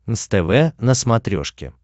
нств на смотрешке